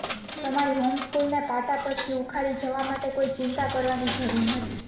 તમારી હોમસ્કૂલને પાટા પરથી ઉખાડી જવા માટે કોઈ ચિંતા કરવાની જરૂર નથી